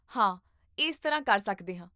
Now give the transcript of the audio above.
ਹਾਂ, ਇਸ ਤਰ੍ਹਾਂ ਕਰ ਸਕਦੇ ਹਾਂ